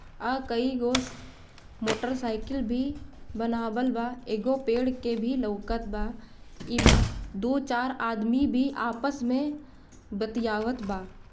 आ कई motorcycle भी बनावल बा एगो पेड़ के भी लउकत बा इमा दु चार आदमी भी आपस मे बतियाबत बा।